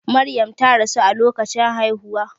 Maryam ta rasu a lokacin haihuwa.